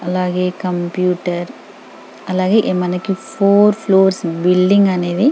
అలాగే కంప్యూటర్ అలాగే మనకు ఫోర్ ఫ్లూర్స్ బిల్డింగ్ అనేది --